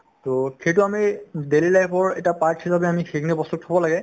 to সেইটো আমি daily life ৰ এটা part হিচাপে আমি সেইখিনি বস্তু থ'ব লাগে